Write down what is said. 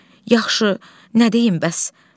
Yaxşı, nə deyim bəs?